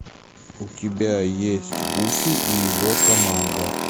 у тебя есть гуфи и его команда